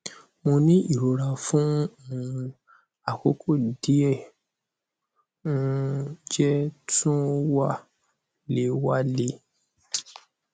mo ni irora fun um akoko die o um je tun wa le wa le